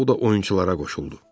Sau da oyunçulara qoşuldu.